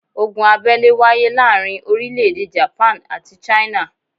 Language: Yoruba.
Ogun abẹ́lé wáyé láàrin orílẹ̀ èdè Japan àti China